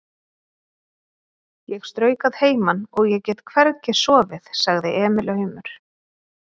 Ég strauk að heiman og ég get hvergi sofið, sagði Emil aumur.